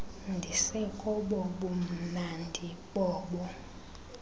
ndisekobo bumnandi bobo